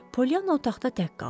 Polyanna otaqda tək qaldı.